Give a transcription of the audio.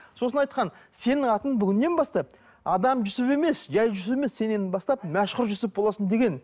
сосын айтқан сенің атың бүгіннен бастап адам жүсіп емес жай жүсіп емес сен енді бастап мәшһүр жүсіп боласың деген